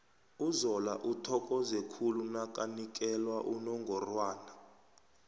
uzola uthokoze khulu nakanikela unongorwana